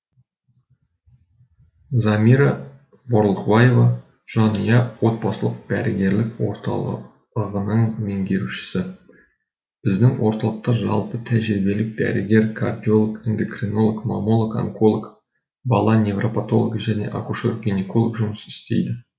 замира борлықбаева жанұя отбасылық дәрігерлік орталығының меңгерушісі біздің орталықта жалпы тәжірибелік дәрігер кардиолог эндекренолог мамолог анколог бала неврапатологы және акушер генеколог жұмыс істейді